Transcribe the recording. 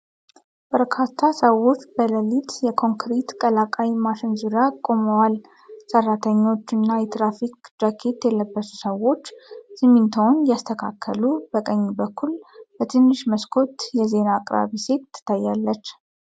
በርካታ ሰዎች በሌሊት የኮንክሪት ቀላቃይ ማሽን ዙሪያ ቆመዋል። ሰራተኞች እና የትራፊክ ጃኬት የለበሱ ሰዎች ሲሚንቶውን እያስተካከሉ ፣ በቀኝ በኩል በትንሽ መስኮት የዜና አቅራቢ ሴት ትታያለች።